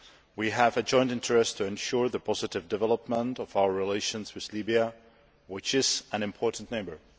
We have a joint interest in ensuring the positive development of our relations with Libya, which is an important neighbour.